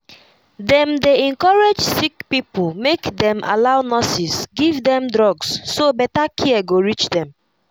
dem dey encourage sick people make dem allow nurses give them drugs so better care go reach them.